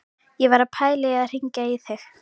Ég var að pæla í að hringja í þig.